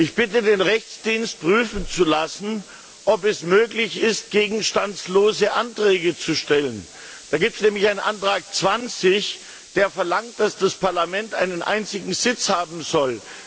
Ich bitte den Juristischen Dienst, prüfen zu lassen, ob es möglich ist, gegenstandslose Anträge zu stellen. Es gibt nämlich einen Antrag 20, in dem verlangt wird, dass das Parlament einen einzigen Sitz haben soll.